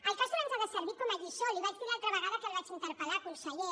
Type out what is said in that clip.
el castor ens ha de servir com a lliçó li ho vaig dir l’altra vegada que el vaig interpel·lar conseller